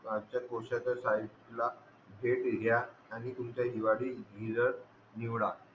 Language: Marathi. आणि आमचा पोषाचासाहित्याला भेट द्या आणि तुमचा हिवाळी निवडा